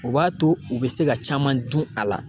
O b'a to, u be se ka caman dun a la.